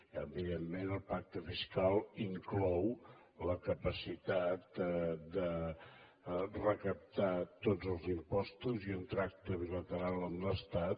i evidentment el pacte fiscal inclou la capacitat de recaptar tots els impostos i un tracte bilateral amb l’estat